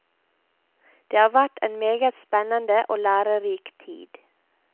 Det har vært en meget spennende og lærerik tid.